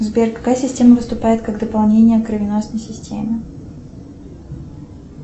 сбер какая система выступает как дополнение к кровеносной системе